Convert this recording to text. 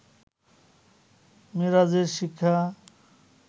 মেরাজের শিক্ষা